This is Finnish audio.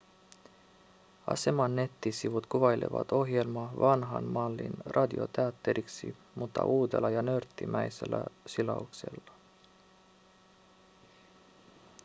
aseman nettisivut kuvailevat ohjelmaa vanhan mallin radioteatteriksi mutta uudella ja nörttimäisellä silauksella